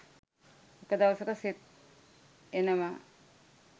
එක දවසක සෙත් එනවා